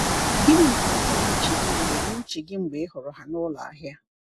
Gịnị na-abata n’uche gị mgbe n’uche gị mgbe ị hụrụ ha n’ụlọ ahịa?